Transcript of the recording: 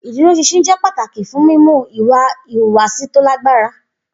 Iduroṣinṣin jẹ pataki fun mimu iwa ihuwasi to lagbara.